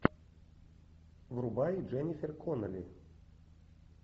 врубай дженнифер коннелли